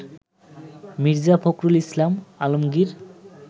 Mirza Fakhrul Islam Alamgir